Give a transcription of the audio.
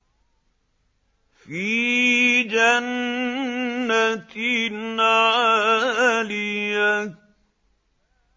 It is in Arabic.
فِي جَنَّةٍ عَالِيَةٍ